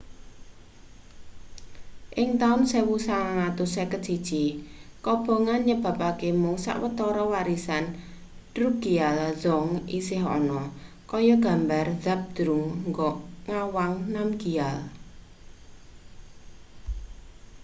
ing taun 1951 kobongan nyebabake mung sawetara warisan drukgyal dzong isih ana kaya gambar zhabdrung ngawang namgyal